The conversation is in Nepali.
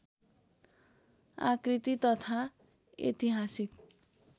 आकृति तथा ऐतिहासिक